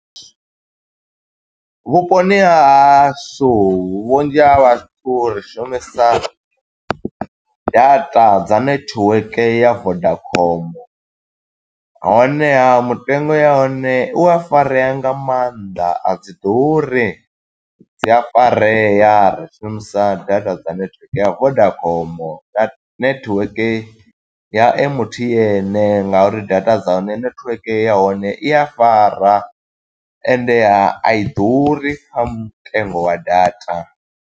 Vhuponi ha hashu vhunzhi ha vhathu ri shumisa data dza netiweke ya Vodacom. Honeha mutengo ya hone u a farea nga mannḓa, a dzi ḓuri, dzi a farea. Ri shumisa data dza netiweke ya Vodacom na network ya M_T_N nga uri data dza hone, netiweke ya hone i a fara ende a i ḓuri kha mutengo wa data.